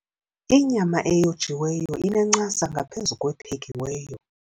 Inyama eyojiweyo inencasa ngaphezu kwephekiweyo.